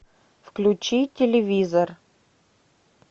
включи телевизор